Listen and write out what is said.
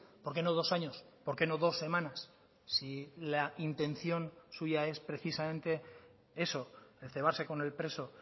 por qué no dos años por qué no dos semanas si la intención suya es precisamente eso el cebarse con el preso